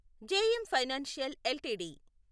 JM financial LTD